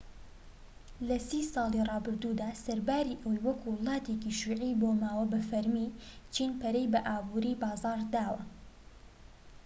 لە سی ساڵی رابردوودا سەرباری ئەوەی وەکو وڵاتێکی شیوعی مابۆوە بە فەرمی چین پەرەی بە ئابوری بازاڕ داوە